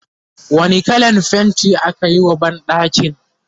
wani kallan fainti akayi wa banɗakin?